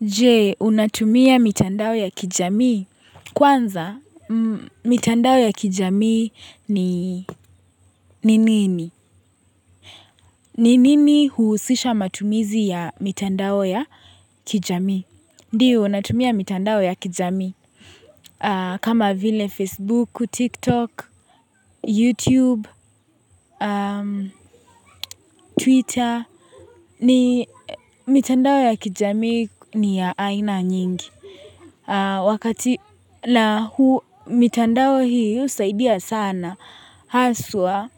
Je, unatumia mitandao ya kijamii. Kwanza, mitandao ya kijamii ni ni nini? Ni nini huhusisha matumizi ya mitandao ya kijamii? Ndio, natumia mitandao ya kijamii. Kama vile Facebook, TikTok, YouTube, Twitter. Mitandao ya kijamii ni ya aina nyingi. Wakati na huu mitandao hii husaidia sana haswa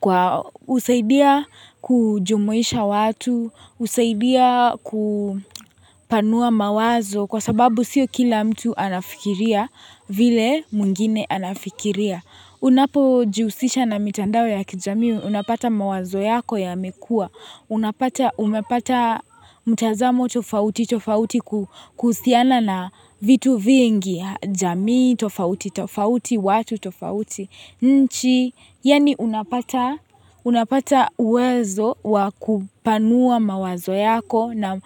kwa husaidia kujumuisha watu, husaidia kupanua mawazo kwa sababu sio kila mtu anafikiria vile mwingine anafikiria. Unapo jihusisha na mitandao ya kijamii unapata mawazo yako yamekua Unapata umepata mtazamo tofauti tofauti kuhusiana na vitu vingi jamii tofauti tofauti watu tofauti nchi yaani unapata unapata uwezo wa kupanua mawazo yako na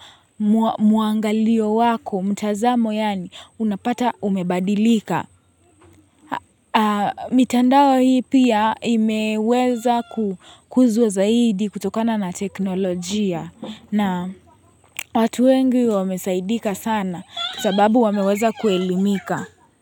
muangalio wako mtazamo yaani unapata umebadilika mitandao hii pia imeweza kukuzwa zaidi kutokana na teknolojia na watu wengi wamesaidika sana sababu wameweza kuelimika.